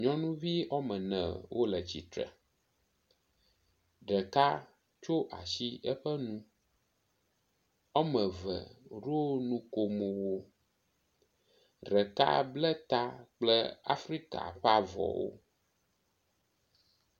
Nyɔnuvi ɔmene wole tsitre, ɖeka tsyɔ asi eƒe nu, woame ve woŋo nukomowo, ɖeka ble ta Afrika ɔe avɔwo.